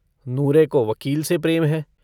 नूरे को वकील से प्रेम है।